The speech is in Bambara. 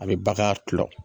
A bi bagan kulɔ